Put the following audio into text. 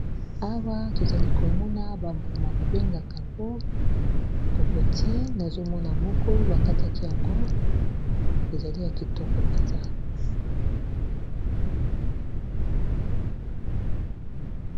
Awa tozali komona bambuma babengaka yango kokoti nazomona moko bakataki yango ezali ya kitoko mpenza.